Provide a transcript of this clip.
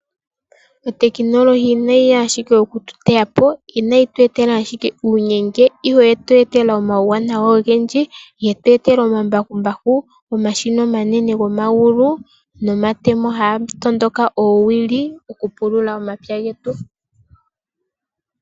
Otekinolohi inayi ya ashike oku tu teya po, inayi tu etela ashike uunyenge, ihe oye tu etela omawuwanawa ogendji. Ye tu etela omambakumbaku, omashina omanene gomavulu nomatemo jaga tondoka oowili okupulula omapya getu.